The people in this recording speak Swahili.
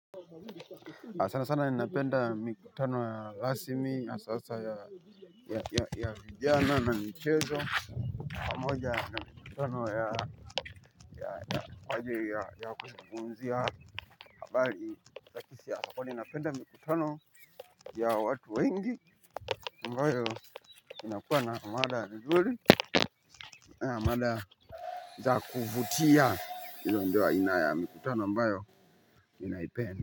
Sana sana ninapenda mikutano ya rasmi ya sasa ya vijana na michezo pamoja na mikutano ya kwa ajili ya kuzungumzia habari kisi yako kwani ninapenda mikutano ya watu wengi ambayo inakuwa na mada nzuri ya mada za kuvutia ilo ndio aina ya mikutano ambayo ninaipenda.